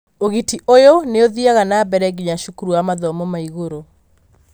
ũgiti ũyũ nĩ ũthiaga na mbere nginya cukuru wa mathomo ma igũrũ.